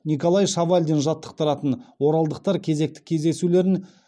николай шавалдин жаттықтыратын оралдықтар кезекті кездесулерін